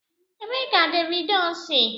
Ebee ka Davido si?